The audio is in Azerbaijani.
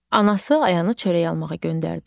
Anası Ayanı çörək almağa göndərdi.